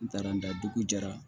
N taara n da dugu jara